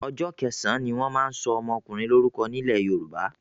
Ọjọ́ kẹsàn-án ni wọ́n máa ń sọ ọmọkùnrin lórúko nílẹ̀ Yorùbá.